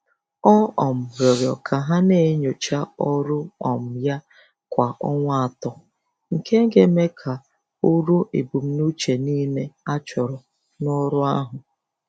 Ọ um rịọrọ ka ha na-enyocha ọrụ um ya kwa ọnwa atọ, nke a ga-eme ka o ruo ebumnuche niile achọrọ n'ọrụ ahu